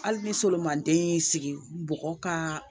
Hali ni solimanden y'i sigi bɔgɔ ka